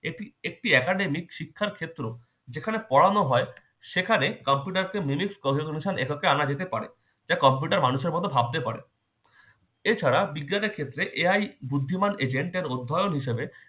এটি একটি academic শিক্ষার ক্ষেত্র যেখানে পড়ানো হয় সেখানে computer কে minute ক্রমের অনুসার এককে আনা যেতে পারে। তাই computer মানুষের মতো ভাবতে পারে। এছাড়া বিজ্ঞানের ক্ষেত্রে ইহাই বুদ্ধিমান agent এর উদ্ভায়ন হিসেবে